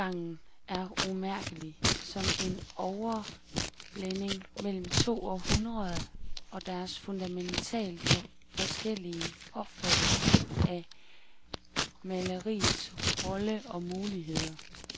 Overgangen er umærkelig, som en overblænding mellem to århundreder og deres fundamentalt forskellige opfattelse af maleriets rolle og muligheder.